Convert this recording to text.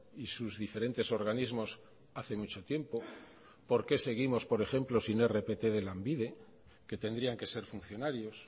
y sus diferentes organismos hace mucho tiempo por qué seguimos por ejemplo sin hay rpt de lanbide que tendrían que ser funcionarios